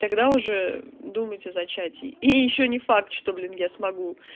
тогда уже думать о зачатии и ещё не факт что блин я смогу